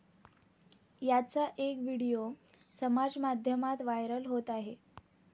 याचा एक व्हिडिओ समाजमाध्यमांत व्हायरल होत आहे.